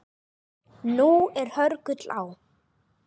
Nú er hörgull á